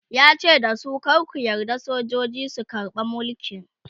yace dasu "kar ku yarda sojoji su karbe Mulki!"